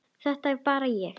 Þetta er bara hér.